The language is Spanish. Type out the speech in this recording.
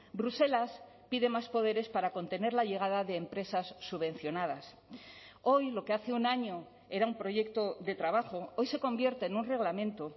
bruselas pide más poderes para contener la llegada de empresas subvencionadas hoy lo que hace un año era un proyecto de trabajo hoy se convierte en un reglamento